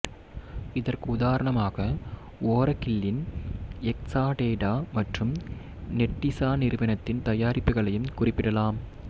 இதற்கு உதாரணமாக ஓரகில்லின் எக்சாடேடா மற்றும் நெட்டிசா நிறுவனத்தின் தயாரிப்புகளையும் குறிப்பிடலாம்